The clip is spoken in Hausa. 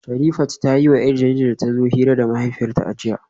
Sherifat ta yiwa 'yar jaridar da ta zo hira da mahaifiyarta a jiya